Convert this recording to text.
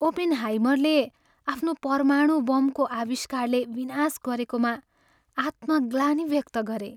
ओपेनहाइमरले आफ्नो परमाणु बमको आविष्कारले विनाश गरेकोमा आत्मग्लानी व्यक्त गरे।